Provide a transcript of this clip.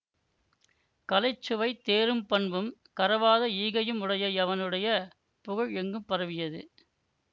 கலைச்சுவை தேரும் பண்பும் கரவாத ஈகையும் உடைய அவனுடைய புகழ் எங்கும் பரவியது